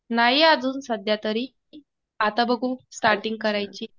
नाही अजून सध्यातरी. आता बघू. स्टार्टींग करायची.